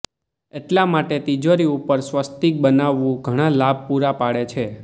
એટલા માટે તિજોરી ઉપર સ્વસ્તિક બનાવવું ઘણા લાભ પુરા પાડે છે